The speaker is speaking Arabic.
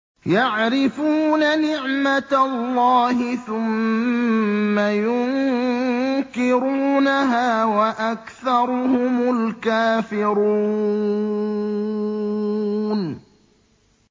يَعْرِفُونَ نِعْمَتَ اللَّهِ ثُمَّ يُنكِرُونَهَا وَأَكْثَرُهُمُ الْكَافِرُونَ